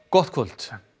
gott kvöld